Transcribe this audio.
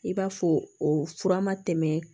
I b'a fɔ o fura ma tɛmɛ